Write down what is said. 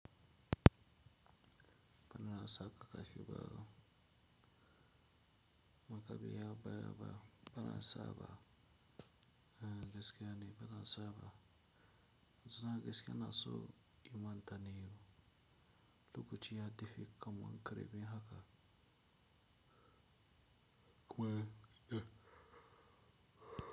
Bana na saƙa ka shiga makabiya baya ba, bana sa ba. Eh gaskiya ne bana sa ba. Sana gaskiya na so in man ta ne, lokacin ya tafi kamun kare min haka.